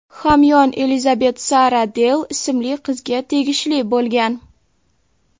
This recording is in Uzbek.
hamyon Elizabet Sara Deyl ismli qizga tegishli bo‘lgan.